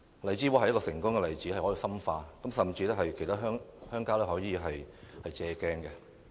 荔枝窩是一個成功例子，可以深化，甚至值得其他鄉郊借鏡。